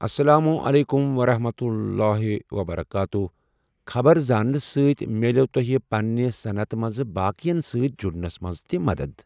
اسلام علیکُم ورحمتہ اللہ تعالٰی وبرکاتہ خبر زاننہٕ سۭتۍ مِلٮ۪و تُہۍ پنِنہِ صنعتہِ منٛز باقِٮ۪ن سۭتۍ جُڑنَس منٛز تہِ مدد۔